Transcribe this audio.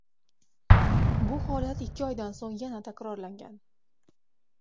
Bu holat ikki oydan so‘ng yana takrorlangan.